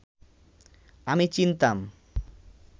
আমি চিনতাম